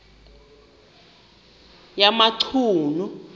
yamachunu